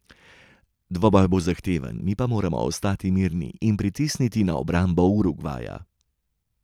Dvoboj bo zahteven, mi pa moramo ostati mirni in pritisniti na obrambo Urugvaja.